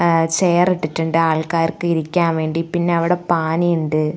ഏഹ് chair ഇട്ടിട്ടുണ്ട് അവിടെ ആൾക്കാർക്ക് ഇരിക്കാൻ വേണ്ടി പിന്നെ അവിടെ പാനി ഉണ്ട്.